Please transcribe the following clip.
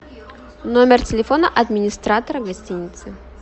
номер телефона администратора гостиницы